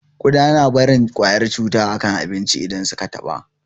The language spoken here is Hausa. Ƙuda na barin kwayar cuta a kan abincin da su ka taɓa